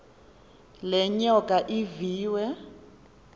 le nyoka iviwe